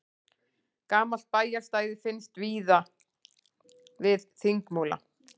Gamalt bæjarstæði finnst við Þingmúla